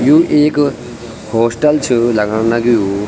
यु एक हॉस्टल च लगण लग्युं।